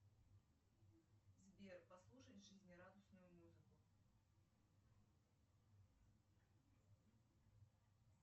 сбер послушать жизнерадостную музыку